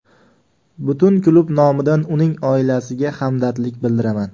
Butun klub nomidan uning oilasiga hamdardlik bildiraman”.